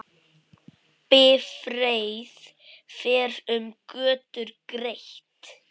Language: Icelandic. Bifreið fer um götur greitt.